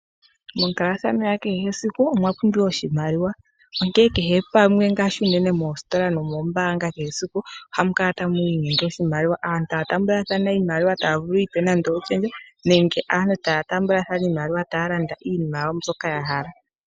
Monkalathano ya kehe esiku omwa pumbiwa tuu oshimaliwa, onkene kehe pamwe ngaashi unene moositola nomoombanga kehe esiku ohamu kala tamu inyenge oahimaliwa. Aantu taya taambathana iimaliwa taya vulu oku ipa nadno oshendja nenge aantu taya taambathana iimaliwa taya landa iinima yawo mbyoka ya hala.